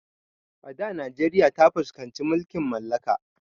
A da najeriya ta fuskanci mulkin mallaka